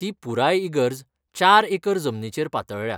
ती पुराय इगर्ज चार एकर जमनीचेर पातळळ्या.